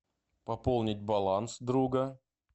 пополнить баланс друга